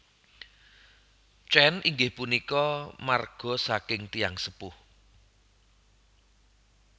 Chen inggih punika marga saking tiyang sepuh